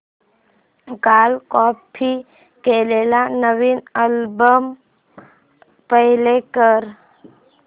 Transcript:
काल कॉपी केलेला नवीन अल्बम प्ले कर